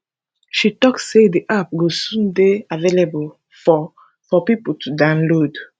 she tok say di app go soon dey available for for pipo to download